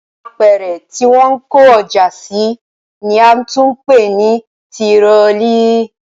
Apẹ̀rẹ̀ tí wọ́n ń kó ọjà sí ni a tún ń pè ní tirọlí